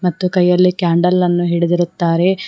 ಮತ್ತು ಕೈಯಲ್ಲಿ ಕ್ಯಾಂಡಲ್ ಅನ್ನು ಹಿಡಿದಿರುತ್ತಾರೆ.